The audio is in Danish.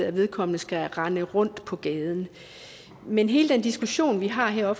at vedkommende skal rende rundt på gaden men hele den diskussion vi har her